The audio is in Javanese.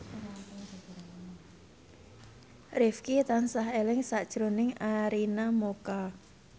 Rifqi tansah eling sakjroning Arina Mocca